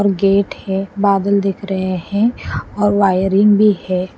Gate है बादल दिख रहे हैं और वायरिंग है।